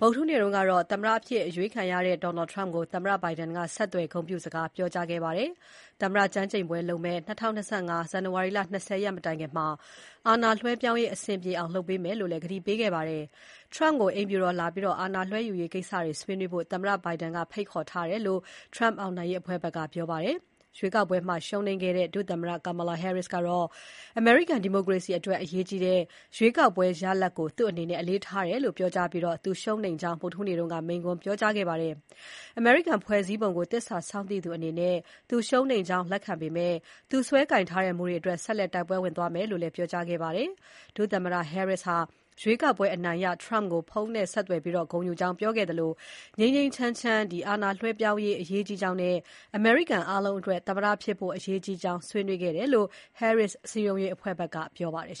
ဗုဒ္ဓဟူးနေ့ကတော့ သမ္မတအဖြစ်အရွေးခံရတဲ့ Donald Trump ကို သမ္မတ Biden က ဆက်သွယ် ဂုဏ်ပြုစကားပြောခဲ့ပါတယ်။ သမ္မတကျမ်းကျိန်ပွဲလုပ်မယ့် ၂၀၂၅ ဇန်နဝါရီ ၂၀ ရက်မတိုင်ခင် အာဏာလွှဲပြောင်းရေး အဆင်ပြေအောင်လုပ်ပေးမယ်လို့လည်း ကတိပေးခဲ့ပါတယ်။ Trump ကို အိမ်ဖြူတော်ကိုလာပြီး အာဏာလွှဲယူရေးကိစ္စတွေ ဆွေးနွေးဖို့ သမ္မတ Biden က ဖိတ်ခေါ်ထားတယ်လို့လည်း Trump အောင်နိုင်ရေးအဖွဲ့ဘက်က ပြောပါတယ်။ ရွေးကောက်ပွဲမှာ ရှုံးနိမ့်ခဲ့တဲ့ ဒုသမ္မတ Kamala Harris ကတော့ အမေရိကန် ဒီမိုကရေစီအတွက် အရေးကြီးတဲ့ ရွေးကောက်ပွဲရလဒ်ကို သူ့အနေနဲ့ အလေးထားတယ်ပြောကြားပြီး သူရှုံးနိမ့်ကြောင်း ဗုဒ္ဓဟူးနေ့က မိန့်ခွန်းပြောကြားခဲ့ပါတယ်။ အမေရိကန်ဖွဲ့စည်းပုံကို သစ္စာစောင့်သိသူအနေနဲ့ သူရှုံးနိမ့်ကြောင်းလက်ခံခဲ့ပေမဲ့ သူကိုင်စွဲထားတဲ့မူတွေအတွက် ဆက်လက် တိုက်ပွဲဝင်သွားမယ် လို့လည်း ပြောကြားခဲ့ပါတယ်။ ဒုသမ္မတ Harris ဟာ ရွေးကောက်ပွဲအနိုင်ရ Trump ကို ဖုန်းနဲ့ ဆက်သွယ်ဂုဏ်ယူကြောင်းပြောခဲ့သလို ငြိမ်းငြိမ်းချမ်းချမ် အာဏာလွှဲပြောင်းနိုင်ရေး အရေးကြီးကြောင်းနဲ့ အမေရိကန်အားလုံးအတွက် သမ္မတဖြစ်ဖို့ အရေးကြီးကြောင်း ဆွေးနွေးခဲ့ကြတယ်လို့ Harris စည်းရုံးရေးအဖွဲ့ဘက်က ပြောပါတယ်